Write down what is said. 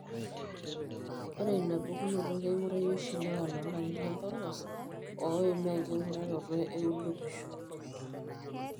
Ore inapukunoto keing'urari oshi ilewa loolarin lempolos oimaa enking'uraroto eolupisho.